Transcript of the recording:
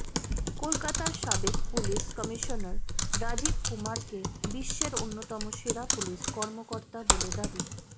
কলকাতার সাবেক police commissioner Rajiv কুমারকে বিশ্বের অন্যতম সেরা পুলিশ কর্মকর্তা বলে দাবি